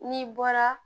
N'i bɔra